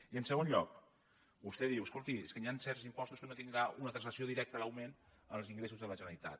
i en segon lloc vostè diu escolti és que hi han certs impostos en què no tindrà una translació directa l’augment en els ingressos de la generalitat